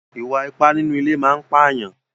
Ìwà ipá nínú ilé máa ń pàyàn.